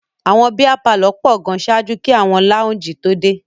Àwọn bíá palọ̀ pọ̀ gan ṣáájú kí àwọn láúǹjì tó dé.